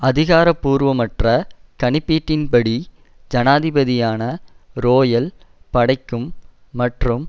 அதிகாரபூர்வமற்ற கணிப்பீட்டின் படி ஜனாதிபதியான றோயல் படைக்கும் மற்றும்